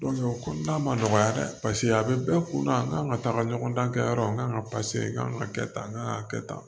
o ko n'a ma nɔgɔya dɛ paseke a bɛ bɛɛ kunna n kan ka taga ɲɔgɔn dan kɛ yɔrɔ n'an ka kan ka kɛ tan n kan ka kɛ tan